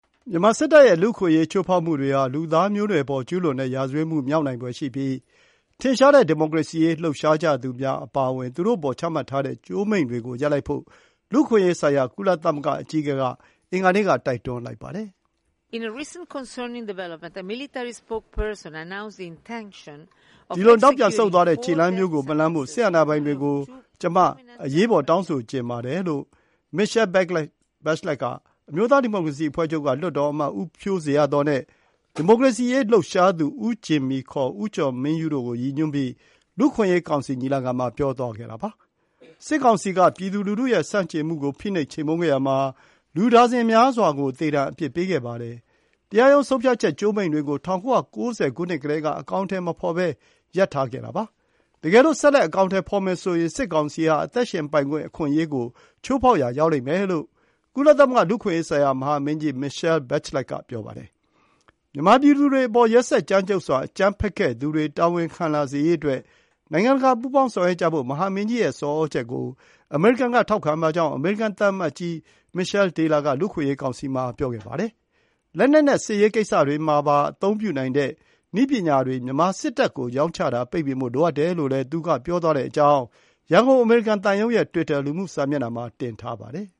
မြန်မာစစ်တပ်ရဲ့လူ့အခွင့်အရေး ချိုးဖောက်မှုတွေဟာ လူသားမျိုးနွယ်ပေါ် ကျူးလွန်တဲ့ ရာဇဝတ်မှု မြောက်နိုင်ဖွယ်ရှိပြီး ထင်ရှားတဲ့ ဒီမိုကရေစီရေးလှုပ်ရှားကြသူများ အပါအဝင် ချမှတ်ထားတဲ့ ကြိုးမိန့်တွေကို ရပ်လိုက်ဖို့ လူ့အခွင့်အရေဆိုင်ရာ ကုလသမဂ္ဂမဟာမင်းကြီးက အင်္ဂါနေ့က တိုက်တွန်းလိုက်ပါတယ်။ “ဒီလို နောက်ပြန်ဆုတ်သွားတဲ့ ခြေလှမ်းမျိုးကိုမလှမ်းဖို့ စစ်အာဏာပိုင်တွေ ကို ကျွန်မ အရေးပေါ် တောင်းဆိုချင်ပါတယ်။” လို့ လူ့အခွင့်အရေး မဟာမင်းကြီး Michelle Bachelet က အမျိုးသား ဒီမိုကရေစီအဖွဲ့ချုပ်က လွှတ်တော်အမတ် ဦးဖြိုးဇေယျာသော်နဲ့ ဒီမိုကရေစီရေးလှုပ်ရှားသူ ဦးဂျင်မီ ခေါ် ဦးကျော်မင်းယုတို့ကို ရည်ညွှန်းပြီး လူ့အခွင့်အရေး ကောင်စီညီလာခံမှာ ပြောသွားခဲ့တာပါ။ စစ်ကောင်စီက ပြည်သူလူထုရဲ့ဆန့်ကျင်မှုကို ဖိနှိပ်ချေမှုန်းခဲ့ရာမှာ လူဒါဇင်များစွာကို သေဒဏ် အပြစ်ပေးခဲ့ပါတယ်။ တရားရုံး ဆုံးဖြတ်ချက် ကြိုးမိန့်တွေကို ၁၉၉၀ ကတည်းက အကောင်အထည် မဖော်ဘဲ ရပ်ထားခဲ့တာပါ။ တကယ်လို့ ဆက်လက် အကောင်အထည်ဖော်မယ်ဆိုရင် စစ်ကောင်စီဟာ အသက်ရှင်ပိုင်ခွင့် အခွင့်အရေးကို ချိုးဖောက်ရာ ရောက်လိမ့် မယ်လို့ ကုလသမဂ္ဂ လူ့အခွင့်အရေးဆိုင်ရာ မဟာမင်းကြီး Michelle Bachelet က ပြောပါတယ်။ မြန်မာ ပြည်သူတွေအပေါ် ရက်စက် ကြမ်းကြုတ်စွာ အကြမ်းဖက်ခဲ့သူတွေ တာဝန်ခံလာစေရေးအတွက် နိုင်ငံတကာ ပူးပေါင်းဆောင်ရွက်ကြဖို့ မဟာမင်းကြီး ရဲ့ ဆောင်သြချက်ကို အမေရိကန်က ထောက်ခံပါကြောင်း အမေရိကန် သံအမတ်ကြီး Michèle Taylor ကလည်း လူ့အခွင့်အရေး ကောင်စီမှာ ပြောခဲ့ပါတယ်။ လက်နက်နဲ့ စစ်ရေးကိစ္စတွေမှာပါ အသုံးပြုနိုင်တဲ့ နည်းပညာတွေ မြန်မာ စစ်တပ်ကို ရောင်းချတာ ပိတ်ပင်ဖို့လိုအပ်တယ်လို့လည်း သူက ပြောသွားကြောင်း ရန်ကုန် အမေရိကန် သံရုံးရဲ့ တွစ်တာ လူမှုစာမျက်နှာမှာ တင်ထားပါတယ်